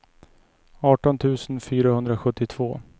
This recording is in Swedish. arton tusen fyrahundrasjuttiotvå